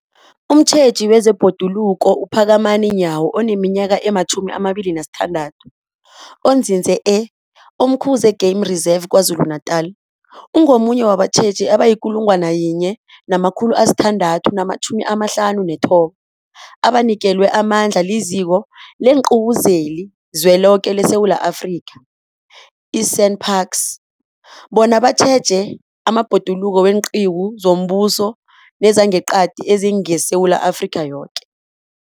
Umtjheji wezeBhoduluko uPhakamani Nyawo oneminyaka ema-26, onzinze e-Umkhuze Game Reserve KwaZulu-Natala, ungomunye wabatjheji abayi-1 659 abanikelwe amandla liZiko leenQiwu zeliZweloke leSewula Afrika, i-SANParks, bona batjheje amabhoduluko weenqiwu zombuso nezangeqadi ezingeSewula Afrika yoke.